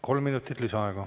Kolm minutit lisaaega.